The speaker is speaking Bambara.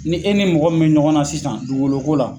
Ni e ni mɔgɔ min be ɲɔgɔn na sisan dugukolo ko la